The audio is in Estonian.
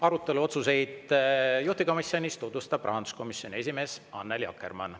Arutelu ja otsuseid juhtivkomisjonis tutvustab rahanduskomisjoni esimees Annely Akkermann.